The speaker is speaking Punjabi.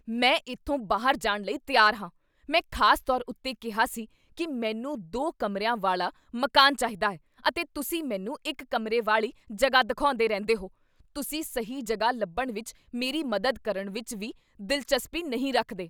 ਮੈਂ ਇੱਥੋਂ ਬਾਹਰ ਜਾਣ ਲਈ ਤਿਆਰ ਹਾਂ। ਮੈਂ ਖ਼ਾਸ ਤੌਰ ਉੱਤੇ ਕਿਹਾ ਸੀ ਕੀ ਮੈਨੂੰ ਦੋ ਕਮਰਿਆ ਵਾਲਾ ਮਕਾਨ ਚਾਹੀਦਾ ਹੈ ਅਤੇ ਤੁਸੀਂ ਮੈਨੂੰ ਇੱਕ ਕਮਰੇ ਵਾਲੀ ਜਗ੍ਹਾ ਦਿਖਾਉਂਦੇ ਰਹਿੰਦੇ ਹੋ। ਤੁਸੀਂ ਸਹੀ ਜਗ੍ਹਾ ਲੱਭਣ ਵਿੱਚ ਮੇਰੀ ਮਦਦ ਕਰਨ ਵਿੱਚ ਵੀ ਦਿਲਚਸਪੀ ਨਹੀਂ ਰੱਖਦੇ।